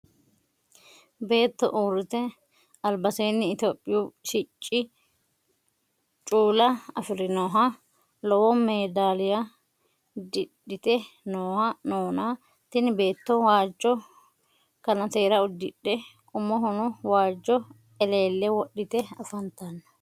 Beetto uurite alibaseenni itihopiyu sicci cuula afirinnoha lowo meedaliya didhite noona tinni beetto waajo kannatera udidhe umohono waajo eleele wodhitte afanitanno.